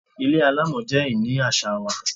Ilé alámọ̀ jẹ ìní àṣà wa.